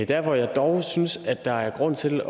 der hvor jeg dog synes at der er grund til at